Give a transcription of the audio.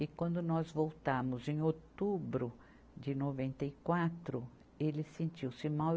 E quando nós voltamos, em outubro de noventa e quatro, ele sentiu-se mal.